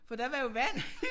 For der var jo vand